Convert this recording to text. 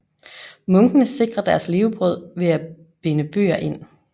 Munkene sikrer deres levebrød ved at binde bøger ind